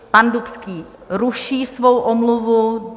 Pan Dubský ruší svou omluvu.